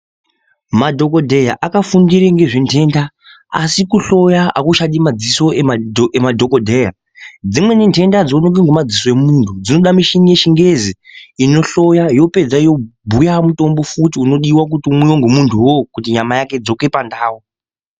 Madhogodheya apafundire ngezventenda asi kuhloya hakuchadi madziso emadhogodheya. Dzimweni ntenda hadzioneki ngemadziso emuntu dzinoda muchini yechingezi, inohloya yopedza yobhuya mutombo futi unodiva kuti umwive ngemuntu ivo kuti nyama yake idzoke pandau.